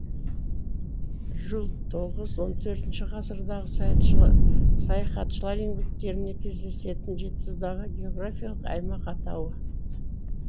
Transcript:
жул тоғыз он төрт ғасырлардағы саяхатшылар еңбектерінде кездесетін жетісудағы географиялық аймақ атауы